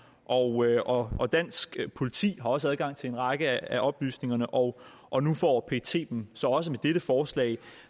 og og dansk politi har også adgang til en række af oplysningerne og og nu får pet dem så også med dette forslag